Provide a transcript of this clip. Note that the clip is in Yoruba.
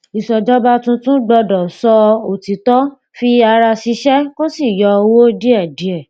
ìṣèjọba tuntun gbọdọ sọ òtítọ fi ara ṣiṣẹ kó sì yọ owó díẹdíẹ